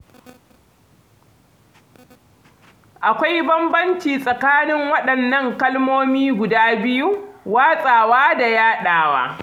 Akwai bambanci tsakanin waɗannan kalmomi guda biyu, watsawa da yaɗawa.